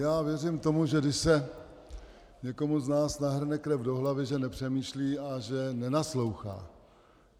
Já věřím tomu, že když se někomu z nás nahrne krev do hlavy, že nepřemýšlí a že nenaslouchá.